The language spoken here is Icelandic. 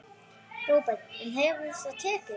Róbert: En það hefur tekist?